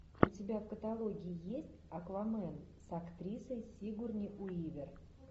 у тебя в каталоге есть аквамен с актрисой сигурни уивер